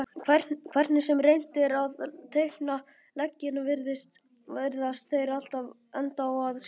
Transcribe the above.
Hvernig sem reynt er að teikna leggina virðast þeir alltaf enda á að skerast.